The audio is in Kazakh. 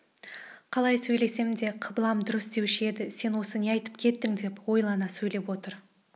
қалай сөйлесем де қыблам дұрыс деуші едім сен осы не айтып кеттің деп ойлана сөйлеп отыр